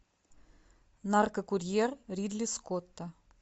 наркокурьер ридли скотта